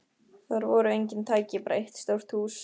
Þar voru engin tæki, bara eitt stórt hús.